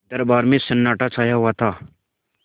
दरबार में सन्नाटा छाया हुआ था